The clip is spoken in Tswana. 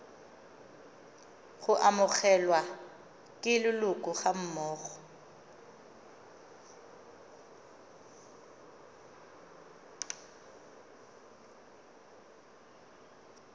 go amogelwa ke leloko gammogo